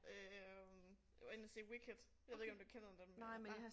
Øh jeg var inde og se Wicked jeg ved ikke om du kender den men hva